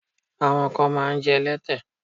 Àwọn kan máa ń jẹ́ ẹlẹ́tẹ.